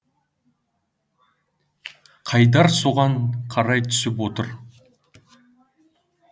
қайдар соған қарай түсіп отыр